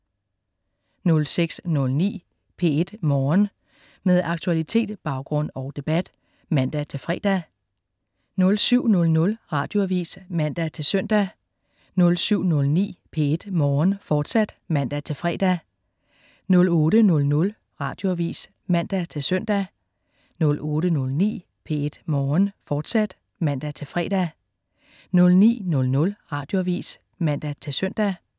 06.09 P1 Morgen. Med aktualitet, baggrund og debat (man-fre) 07.00 Radioavis (man-søn) 07.09 P1 Morgen, fortsat (man-fre) 08.00 Radioavis (man-søn) 08.09 P1 Morgen, fortsat (man-fre) 09.00 Radioavis (man-søn)